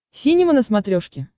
синема на смотрешке